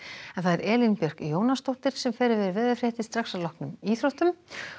Elín Björk Jónasdóttir fer með veðurfregnir að loknum íþróttum